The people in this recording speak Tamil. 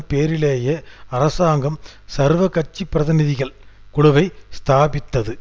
பேரிலேயே அரசாங்கம் சர்வ கட்சி பிரதிநிதிகள் குழுவை ஸ்தாபித்தது